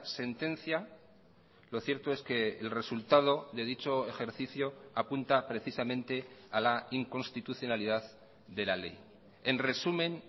sentencia lo cierto es que el resultado de dicho ejercicio apunta precisamente a la inconstitucionalidad de la ley en resumen